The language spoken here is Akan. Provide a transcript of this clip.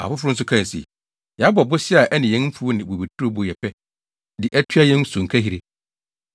Afoforo nso kae se, “Yɛabɔ bosea a ɛne yɛn mfuw ne bobeturo bo yɛ pɛ de atua yɛn sonkahiri.